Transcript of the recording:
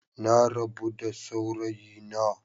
Na rabu da saurayina.